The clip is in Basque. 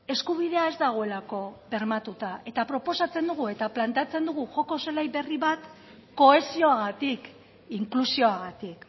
eskubidea ez dagoelako bermatuta eta proposatzen dugu eta planteatzen dugu joko zelai beri bat kohesioagatik inklusioagatik